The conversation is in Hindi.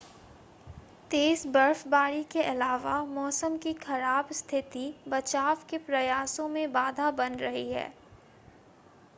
तेज़ बर्फबारी के अलावा मौसम की ख़राब स्थिति बचाव के प्रयासों में बाधा बन रही है